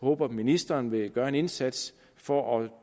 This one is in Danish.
håber at ministeren vil gøre en indsats for at